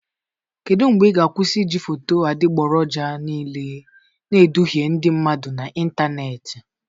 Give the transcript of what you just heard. Kedu mgbe ị ga-akwụsị iji foto adịgboroja niile na-eduhie ndị mmadụ n'ịntanetị?